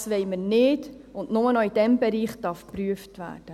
«Das wollen wir nicht, und nur noch in diesem Bereich darf geprüft werden.